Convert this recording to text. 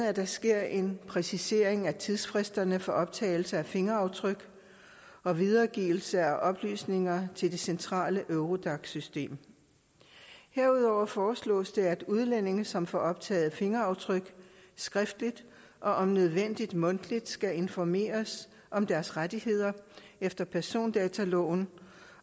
at der sker en præcisering af tidsfristerne for optagelse af fingeraftryk og videregivelse af oplysninger til det centrale eurodac system herudover foreslås det at udlændinge som får optaget fingeraftryk skriftligt og om nødvendigt mundtligt skal informeres om deres rettigheder efter persondataloven